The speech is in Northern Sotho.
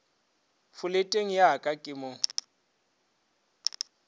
foleteng ya ka ke mo